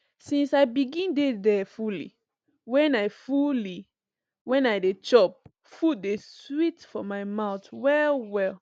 since i begin dey there fully when i fully when i dey chop food dey sweet for my mouth well well